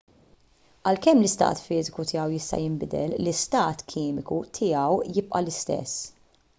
għalkemm l-istat fiżiku tiegħu jista' jinbidel l-istat kimiku tiegħu jibqa' l-istess